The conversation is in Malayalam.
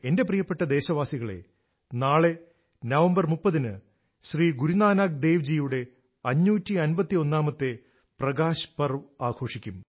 എന്റെ പ്രിയപ്പെട്ട ദേശവാസികളെ നാളെ നവംബർ 30 ന് ശ്രീ ഗുരു നാനക് ദേവ് ജിയുടെ 551ാമത്തെ പ്രകാശ് പർവ് പ്രകാശോല്സവം ആഘോഷിക്കും